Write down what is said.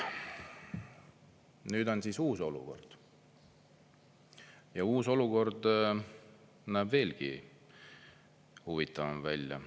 Nüüd on uus olukord ja uus olukord veelgi huvitavam välja.